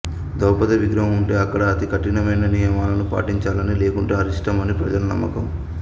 ద్రౌపది విగ్రహం వుంటే అక్కడ అతి కఠినమైన నియమాలను పాటించాలనీ లేకుంటే అరిష్టమనీ ప్రజల నమ్మకం